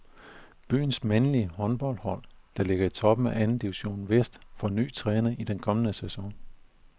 Byens mandlige håndboldhold, der ligger i toppen af anden division vest, får ny træner i den kommende sæson.